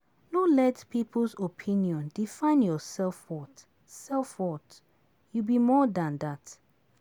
No let people's opinion define your self-worth, self-worth, you be more dan dat.